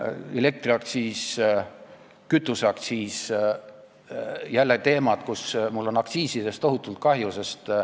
Elektriaktsiis, kütuseaktsiis – need on jälle teemad, kus mul on aktsiisidest tohutult kahju.